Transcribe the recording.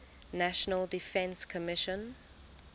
national defense commission